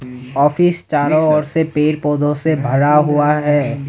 Office चारों ओर से पेड़ पौधों से भरा हुआ है।